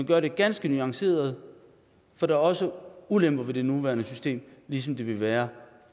gør det ganske nuanceret for der er også ulemper ved det nuværende system ligesom der vil være